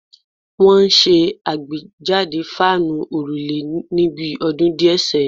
Wọ́n ṣe àgbéjáde fáànù òrùlé ní bi ọdún díẹ̀ sẹ́yìn